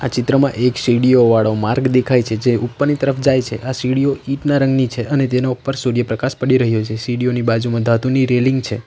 ચિત્રમાં એક સીડીઓ વાળો માર્ગ દેખાય છે જે ઉપરની તરફ જાય છે આ સીડીઓ ઈંટના રંગની છે અને તેના ઉપર સૂર્યપ્રકાશ પડી રહ્યો છે સીડીઓની બાજુમાં ધાતુની રેલિંગ છે.